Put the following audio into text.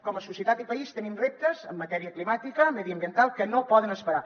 com a societat i país tenim reptes en matèria climàtica mediambiental que no poden esperar